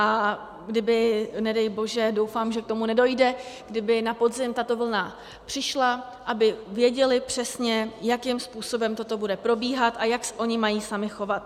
A kdyby nedej bože, doufám, že k tomu nedojde, kdyby na podzim tato vlna přišla, aby věděli přesně, jakým způsobem toto bude probíhat a jak se oni mají sami chovat.